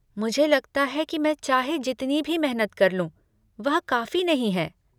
मुझे लगता है कि मैं चाहे जितनी भी मेहनत कर लूँ, वह काफी नहीं है।